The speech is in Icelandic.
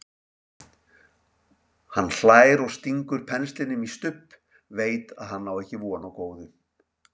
Hann hlær og stingur penslinum í Stubb, veit að hann á ekki von á góðu.